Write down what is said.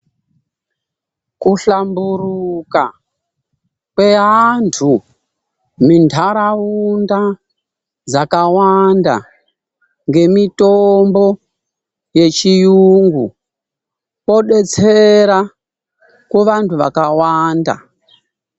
Kuhlamburuka kweantu mundaraunda dzakawanda ngemitombo yechiyungu kodetsera kuvantu vakawanda.